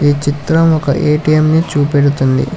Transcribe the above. ఈ చిత్రం ఒక ఏ_టీ_ఎం ని చూపెడుతుంది.